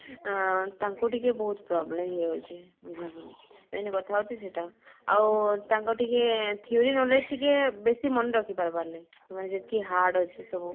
ଆଁ ତାଙ୍କୁ ଟିକେ ବହୁତ problem ହେଇ ଯାଉଛି ବୁଝିଲ କି ନାଇ main କଥା ହଉଛି ସେଇଟା ଆଉ ତାଙ୍କ ଟିକେ theory knowledge ଟିକେ ବେଶି ମନ ରଖି ପାରବର ନାଇ ମାନେ ଯେତିକି hard ଅଛି ସବୁ